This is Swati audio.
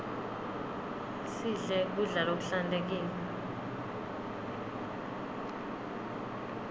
sidle kudla lokuhlantekile